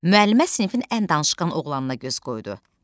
Müəllimə sinifin ən danışqan oğlanına göz qoydu.